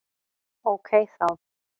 Ókei þá!